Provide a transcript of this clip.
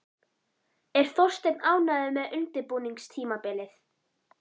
Er Þorsteinn ánægður með undirbúningstímabilið?